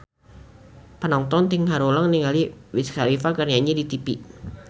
Panonton ting haruleng ningali Wiz Khalifa keur nyanyi di tipi